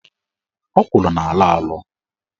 Ọkwụrụ na-alọ alọ.